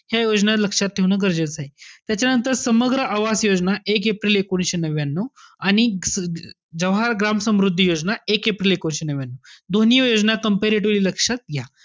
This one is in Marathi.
योजना लक्षात ठेवणं गरजेचंय. त्याच्यानंतर, समग्र आवास योजना एक एप्रिल एकोणविशे नव्यान्यू. आणि अं जवाहर ग्राम समृद्धी योजना एक एप्रिल एकोणविशे नव्यान्यू. दोन्ही योजना comparatively लक्षात घ्या.